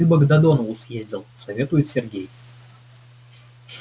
ты бы к додонову съездил советует сергей